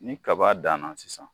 Ni kaba danna sisan